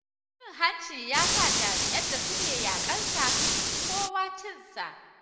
Cin hanci ya sa jami'an da suke yaƙar sa, sun fi kowa cin sa.